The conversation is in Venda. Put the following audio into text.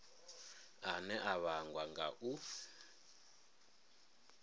ane a vhangwa nga u